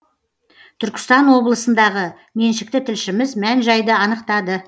түркістан облысындағы меншікті тілшіміз мән жайды анықтады